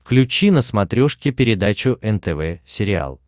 включи на смотрешке передачу нтв сериал